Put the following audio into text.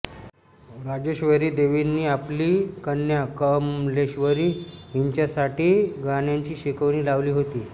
राजेश्वरी देवींनी आपली कन्या कमलेश्वरी हिच्यासाठी गाण्याची शिकवणी लावली होती